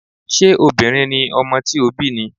Ṣé obìnrin ni ọmọ tí ó bí ni?